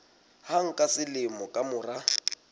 hang ka selemo ka mora